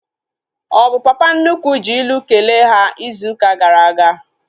Ọ bụ papa nnukwu ji ilu kelee ha izu ụka gara aga?